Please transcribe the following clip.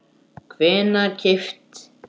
hvenær keypt?